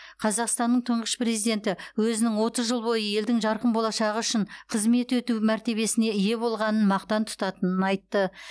қазақстанның тұңғыш президенті өзінің отыз жыл бойы елдің жарқын болашағы үшін қызмет өту мәртебесіне ие болғанын мақтан тұтатынын айтты